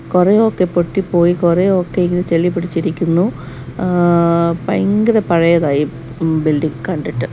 കുറേ ഒക്കെ പൊട്ടിപ്പോയി കുറെ ഒക്കെ ഇങ്ങ് ചളി പിടിച്ചിരിക്കുന്നു ഭയങ്കര പഴയതാ ഈ